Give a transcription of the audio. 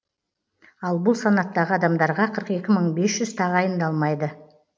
ал бұл санаттағы адамдарға қырық екі мың бес жүз тағайындалмайды